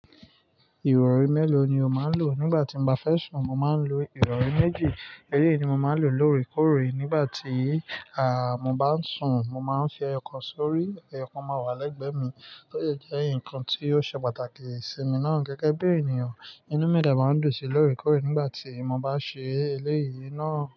Ìrọ̀rí mélòó ni o máa ń lò nígbà tí mo bá fẹ́ sùn? Mo máa ń lo ìrọ̀rí méjì. Eléyìí ni mo máa ń lò lóòrèkóòrè nígbà tí, à, mo bá ń sùn. Mo máa ń fi ẹyọkan sórí, ẹyọkan máa wà lẹ́gbẹ̀ẹ́ mi tó de jẹ́ ǹkan tí ó ṣe pàtàkì sí mi náà gẹ́gẹ́ bí ènìyàn. Inúù mi de màá ń dùn sí lóòrèkóòrè nígbà tí mo bá ṣe eléyìí náà?